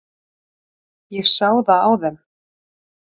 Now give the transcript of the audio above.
Ég sá það á þeim.